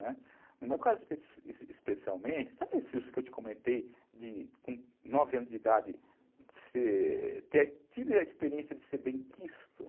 Né, no meu caso especialmente, sabe isso que eu te comentei, com nove anos de idade, ser, ter tido a experiência de ser benquisto?